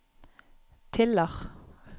Tiller